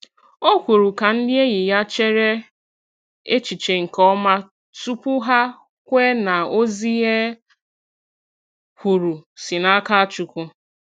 Ọ kwùrù ka ndị enyi ya chèrè echiche nke ọma tupu hà kwe na ozi e kwuru si n’aka Chukwu.